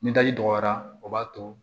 Ni daji dɔgɔyara o b'a to